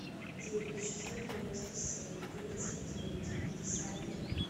девять шестьсот девяносто семь тридцать девять пятьдесят три